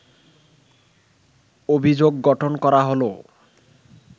অভিযোগ গঠন করা হলো